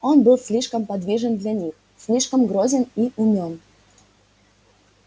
он был слишком подвижен для них слишком грозен и умён